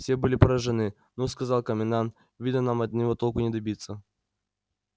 все были поражены ну сказал комендант видно нам от него толку не добиться